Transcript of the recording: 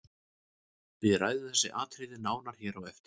Við ræðum þessi atriði nánar hér á eftir.